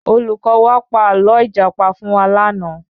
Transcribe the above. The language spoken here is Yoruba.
Olùkọ́ wa pa ààlọ́ ìjàpá fún wa lànà